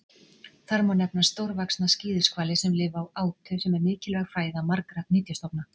Þar má nefna stórvaxna skíðishvali sem lifa á átu sem er mikilvæg fæða margra nytjastofna.